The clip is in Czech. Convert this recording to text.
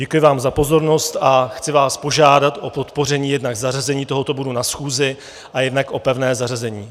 Děkuji vám za pozornost a chci vás požádat o podpoření jednak zařazení tohoto bodu na schůzi a jednak o pevné zařazení.